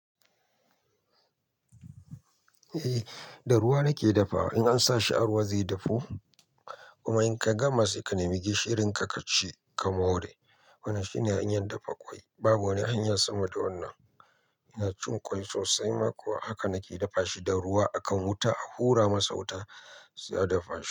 Eh, da ruwa nake dafawa. In an sa shi a ruwa zai dafu, kuma in ka gama sai ka nemi gishirin ka kaci ka mare. Wannan shine hanyar dafa ƙwai. Babu wani hanya sama da wannan. Yana cin ƙwai sosai ma kuwa haka nake dafa shi da ruwa. A kan wuta a hura masa wuta sai a dafa shi.